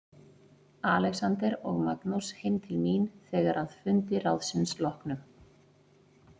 Alexander og Magnús heim til mín þegar að fundi ráðsins loknum.